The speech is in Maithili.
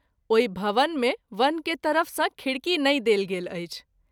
ओहि भवन मे वन के तरफ सँ खिड़की नहिं देल गेल अछि।